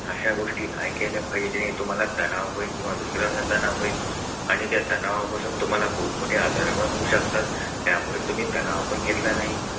अशा गोष्टी नाही केल्या पाहिजे की तुम्हाला तणाव होईल किंवा दुसऱ्यांना तणाव होईल आणि त्या तणावापासून तुम्हाला मोठमोठे आजार पण होऊ शकतात त्यामुळे तुम्ही तणाव पण घेतला नाही.